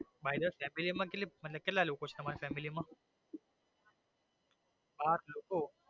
family માં તમે કેટલા લોકો ચો family માં આઠ લોકો.